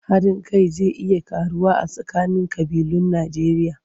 Haɗin kai zai iya ƙaruwa a tsakanin ƙabilun Najjeriya.